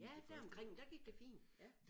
Ja deromkring der gik det fint ja